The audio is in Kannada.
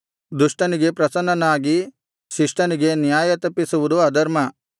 ದುಷ್ಟನಿಗೆ ಪ್ರಸನ್ನನಾಗಿ ಶಿಷ್ಟನಿಗೆ ನ್ಯಾಯತಪ್ಪಿಸುವುದು ಅಧರ್ಮ